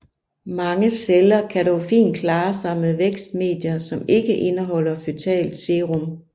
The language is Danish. Mange celler kan dog fint klare sig med vækstmedier som ikke indeholder føtalt serum